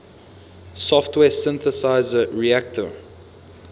software synthesizer reaktor